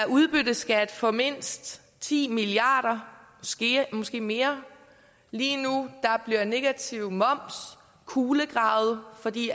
udbytteskat for mindst ti milliard kr måske mere lige nu bliver negativ moms kulegravet fordi